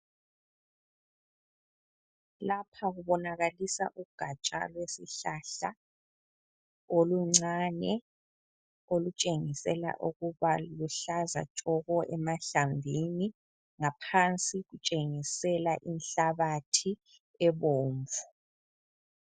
Lapha kubonakalisa ugatsha lwesihlahla oluncane olutshengisela ukuba luhlaza tshoko emahlamvini, ngaphansi lutshengisela inhlabathi ebomvu.